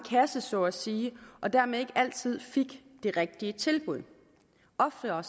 kasse så at sige og dermed ikke altid fik det rigtige tilbud oftere